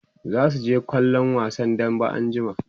zasu je kallon wasan dambe anjima